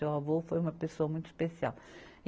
Seu avô foi uma pessoa muito especial.